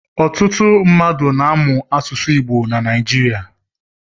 Ọtụtụ mmadụ na-amụ asụsụ Igbo na Naịjirịa.